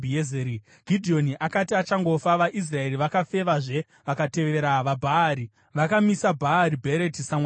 Gidheoni akati achangofa, vaIsraeri vakafevazve vakatevera vaBhaari. Vakamisa Bhaari Bheriti samwari wavo uye